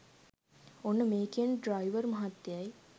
ඔන්න මේ කියන ඩ්‍රයිවර් මහත්තයයි